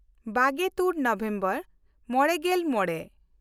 ᱵᱟᱜᱮᱼᱛᱩᱨ November ᱢᱚᱬᱮᱜᱮᱞ ᱢᱚᱬᱮ